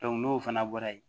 n'o fana bɔra yen